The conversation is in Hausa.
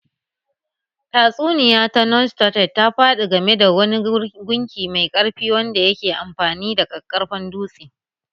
Tatsuniya ta Norse ta Thor ta faɗi game da wani gunki mai ƙarfi wanda yake amfani da ƙaƙƙarfan dutse